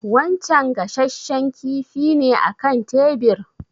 Wancen gashashshen kifi ne a kan tebir?